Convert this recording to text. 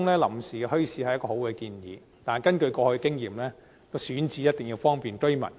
臨時墟市是一個好建議，但根據過往的經驗，選址一定要方便居民。